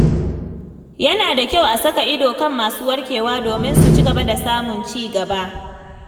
Yana da kyau a saka ido kan masu warkewa domin su ci gaba da samun ci gaba.